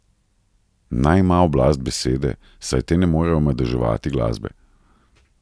Naj ima oblast besede, saj te ne morejo omadeževati glasbe.